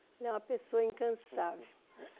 Ele é uma pessoa incansável.